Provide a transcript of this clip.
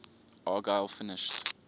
argyle finished